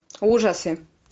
ужасы